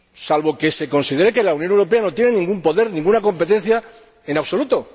Salvo que se considere que la Unión Europea no tiene ningún poder, ninguna competencia en absoluto.